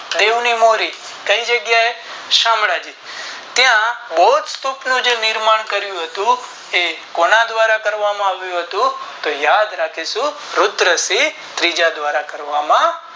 દિયો ની વાણી કે જગ્યા એ શામળાજી ત્યાં મોત સ્તૂપ નું નિર્માણ કરિયું હતું તે કોના દ્વારા કરવામાં આવ્યું હતું તો યાદ રાખીશું રુદ્રસિંહ ત્રીજા દ્વારા કરવામાં